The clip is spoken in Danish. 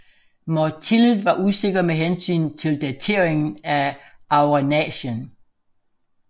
Mortillet var usikker med hensyn til dateringen af auragnacien